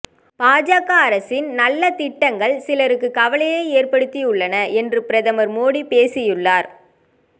பாஜக அரசின் நல்ல திட்டங்கள் சிலருக்கு கவலையை ஏற்படுத்தியுள்ளன என்று பிரதமர் மோடி பேசியுள்ளார்